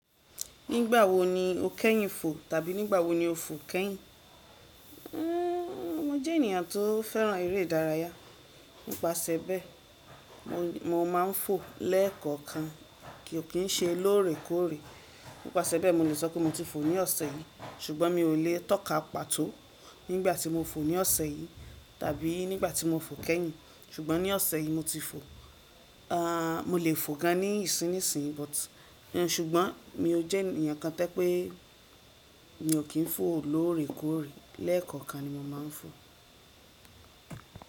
Nígbà wo ni o kẹ́yìn fò tàbí nígbà wo ni o fò kẹ́yìn? Uuuń, mo jẹ́ ènìyàn tó fẹ́ràn eré ìdárayá, nípasẹ̀bẹ̀, mo máa ń fò lẹ́ẹ̀kọ̀kan, kí ò kí ń ṣe lóòrèkóòrè. Nípasẹ̀bẹ̀, mo lè sọ pé mo ti fò ní ọ̀sẹ̀ yìí, ṣùgbọ́n mi ò lè tọ́ka pàtó nígbà tí mo fò ní ọ̀sẹ̀ yìí tàbí nígbà tí mo fò kẹ́yìn. Ṣùgbọ́n ní ọ̀sẹ̀ yìí mo ti fò. Ahhh. Mo lè fò gan nísinsìnyí, ṣùgbọ́n mọ jẹ́ ènìyàn kan tó jẹ́ pé mi ò kí ń fò lóòrèkóòrè. Lẹ́ẹ̀kọ̀kan ni mo máa ń fò.